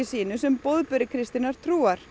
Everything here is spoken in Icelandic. sínu sem boðberi kristinnar trúar